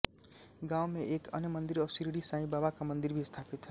गांव में एक अन्य मंदिर और सिरडी साईं बाबा का मंदिर भी स्थापित है